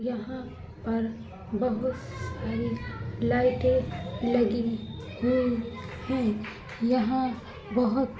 यहाँ पर बहुत सारी लाइटे लगी हुई है| यहाँ बोहोत --